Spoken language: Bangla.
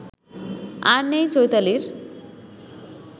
আর নেই চৈতালির